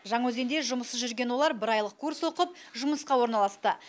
жаңаөзенде жұмыссыз жүрген олар бір айлық курс оқып жұмысқа орналасты